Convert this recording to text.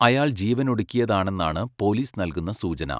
അയാൾ ജീവനൊടുക്കിയതാണെന്നാണ് പോലീസ് നൽകുന്ന സൂചന.